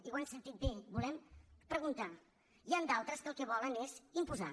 i ho han sentit bé volem preguntard’altres que el que volen és imposar